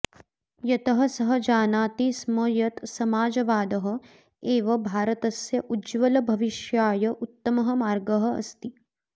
यतः सः जानाति स्म यत् समाजवादः एव भारतस्य उज्ज्वलभविष्याय उत्तमः मार्गः अस्ति